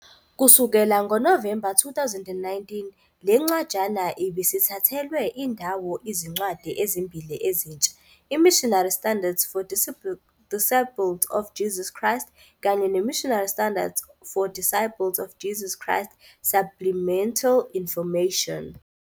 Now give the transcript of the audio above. Kusukela ngoNovemba 2019, le ncwajana ibisithathelwe indawo izincwadi ezimbili ezintsha, "iMissionary Standards for Disciples of Jesus Christ" kanye "neMissionary Standards for Disciples of Jesus Christ- Supplemental Information."